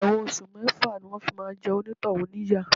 Ẹ̀wọ̀n oṣù mẹ́fà ni wọn fi máa jẹ onitohun níyà.